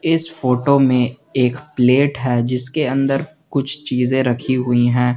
इस फोटो में एक प्लेट है जिसके अंदर कुछ चीजे रखी हुई है।